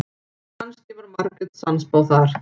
Kannski var Margrét sannspá þar.